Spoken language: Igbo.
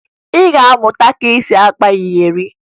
Ị ga-amụta ka e si akpa iyeri